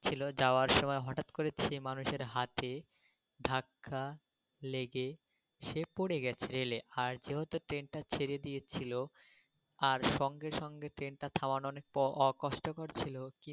যাওয়ার সময় হঠাৎ করে সেই মানুষের হাতে ধাক্কা লেগে সে পরে গেছে রেলে আর যেহেতু ট্রেন টা ছেড়ে দিয়েছিলো আর সঙ্গে সঙ্গে ট্রেন টা থামার অ প কষ্ট কর ছিল.